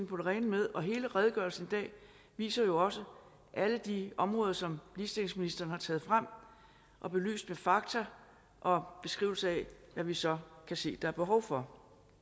på det rene med og hele redegørelsen i dag viser jo også alle de områder som ligestillingsministeren har taget frem og belyst med fakta og beskrivelse af hvad vi så kan se der er behov for